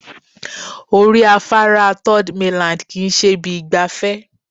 Orí afárá third mainland kì í ṣe ibi ìgbafẹ́